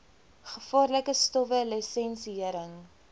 gevaarlike stowwe lisensiëring